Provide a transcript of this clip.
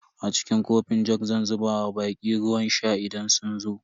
A cikin kofin jug zan zuba wa baƙi ruwan sha idan sun zo.